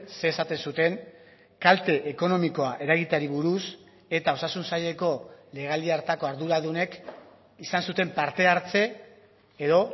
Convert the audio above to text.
zer esaten zuten kalte ekonomikoa eragiteari buruz eta osasun saileko legealdi hartako arduradunek izan zuten parte hartze edo